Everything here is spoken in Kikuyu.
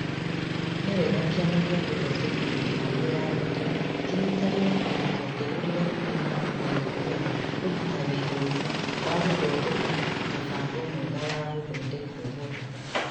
Nĩ wega Kĩama gĩa gũthondeka mĩbango ya arutwo kĩnyitanĩre na rũhonge rũrĩa rũĩ na ũmenyeru wa kũruta wĩra ũyũ wa gũthondeka mũbango mwega wa gũthondeka ũhoro.